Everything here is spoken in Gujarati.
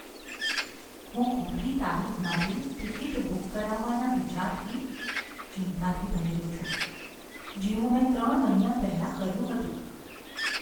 હું ખોટી તારીખ માટે ટિકિટ બુક કરાવવાના વિચારથી ચિંતાથી ભરેલો છું, જેવું મેં ત્રણ મહિના પહેલાં કર્યું હતું.